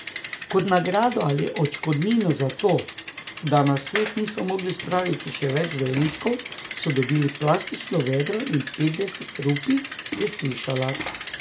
Kot nagrado ali odškodnino za to, da na svet niso mogli spraviti še več dojenčkov, so dobili plastično vedro in petdeset rupij, je slišala.